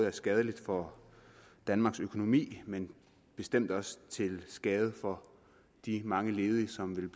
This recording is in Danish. er skadeligt for danmarks økonomi men bestemt også til skade for de mange ledige som vil